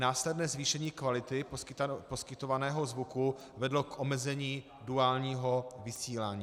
Následné zvýšení kvality poskytovaného zvuku vedlo k omezení duálního vysílání.